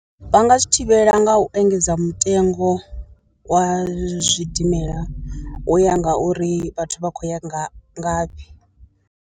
Vha nga zwi thivhela nga u engedza mutengo wa zwidimela u ya nga uri vhathu vha khou ya nga ngafhi.